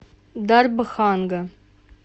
дарбханга